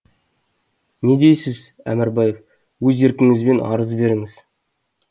не дейсіз әмірбаев өз еркіңізбен арыз беріңіз